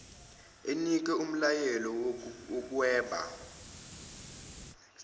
enike umlayelo wokuhweba